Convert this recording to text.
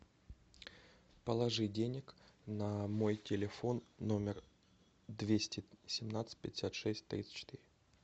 положи денег на мой телефон номер двести семнадцать пятьдесят шесть тридцать четыре